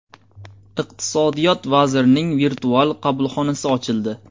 Iqtisodiyot vazirining virtual qabulxonasi ochildi.